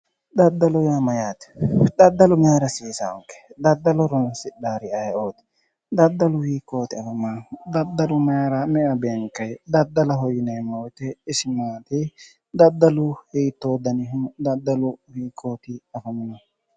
Daddalo yaa mayyaate, daddalu maayiira hasiisaanke daddalo horoonsidhaari ayeeooti, daddalu hiikkooti afamaahu, daddalu mayiira me'ewa beenkayi daddaloho yineemmo woyiite isi maati? daddalu hiittoo daniho? daddalu isi hiikkooti afamihu?